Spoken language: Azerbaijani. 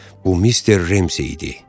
Bu mister Remzi idi.